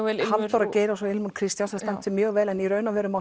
vel Halldóra Geirs og ilmur Kristjánsdóttir standa sig mjög vel en í raun og veru